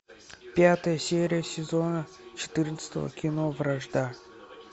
пятая серия сезона четырнадцатого кино вражда